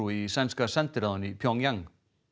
í sænska sendiráðinu í Pjongjang